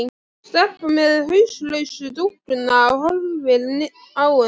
Stelpan með hauslausu dúkkuna horfir á hana.